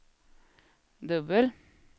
dubbel